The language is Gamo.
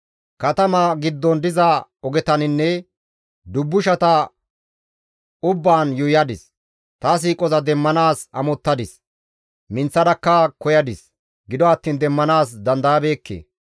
Katama giddon diza ogetaninne dubbushata ubbaan yuuyadis; ta siiqoza demmanaas amottadis; minththadakka koyadis; gido attiin demmanaas dandayabeekke.